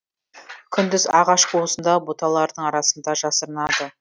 күндіз ағаш қуысында бұталардың арасында жасырынады